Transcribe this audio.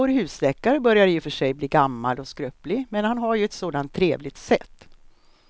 Vår husläkare börjar i och för sig bli gammal och skröplig, men han har ju ett sådant trevligt sätt!